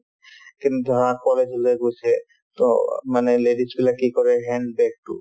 college লে গৈছে to মানে ladies বিলাকে কি কৰে hand bag তো